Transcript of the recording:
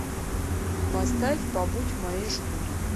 поставь побудь в моей шкуре